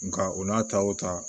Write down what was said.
Nka o n'a ta o ta